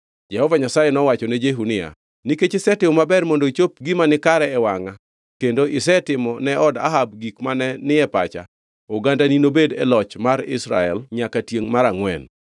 Jehova Nyasaye nowachone Jehu niya, “Nikech isetimo maber mondo ichop gima nikare e wangʼa kendo isetimo ne od Ahab gik mane ni e pacha, ogandani nobed e loch mar Israel nyaka tiengʼ mar angʼwen.”